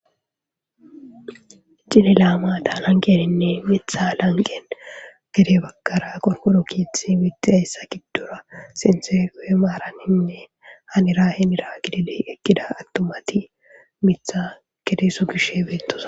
Cililamaataa lanqeninne mitha lanqen gede bakkara qorkoro kiithi wittidayssa giddora sintegoe maaraninne hanira hinira gidile ekkida attomati mitha gedeeso gishe beettosa